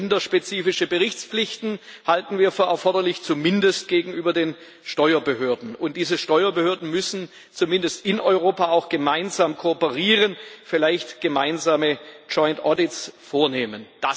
Länderspezifische Berichtspflichten halten wir für erforderlich, zumindest gegenüber den Steuerbehörden, und diese Steuerbehörden müssen zumindest in Europa auch gemeinsam kooperieren, vielleicht joint audits vornehmen.